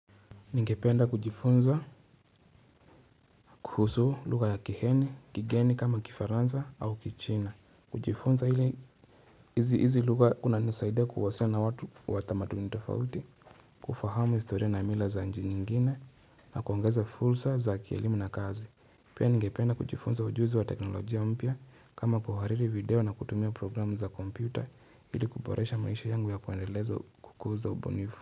Ningependa kujifunza kuhusu lugha ya kiheni kigeni kama kifaranza au kichina kujifunza ili hizi hizi lugha kunanisaidia kuhusiana na watu wa tamaduni tofauti kufahamu historia na mila za inji nyingine na kuongeza fursa za kielimu na kazi Pia ningependa kujifunza ujuzi wa teknolojia mpya kama kuhariri video na kutumia programu za kompyuta ili kuboresha maisha yangu ya kuendeleza kukuza ubunifu.